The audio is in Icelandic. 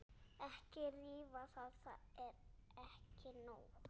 Ekki rífa, það er ekki nóg.